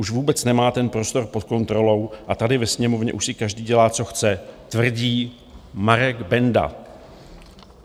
Už vůbec nemá ten prostor pod kontrolou a tady ve Sněmovně už si každý dělá co chce - tvrdí Marek Benda.